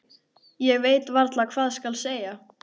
Ég veit varla hvað skal segja.